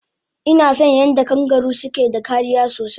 Inason yadda kangaru suke da kariya sosai